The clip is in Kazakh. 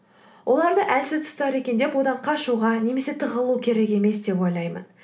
одарды әлсіз тұстар екен деп одан қашуға немесе тығылу керек емес деп ойлаймын